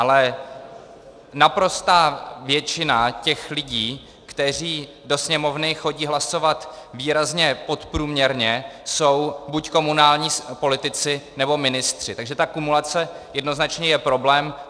Ale naprostá většina těch lidí, kteří do Sněmovny chodí hlasovat výrazně podprůměrně, jsou buď komunální politici, nebo ministři, takže ta kumulace jednoznačně je problém.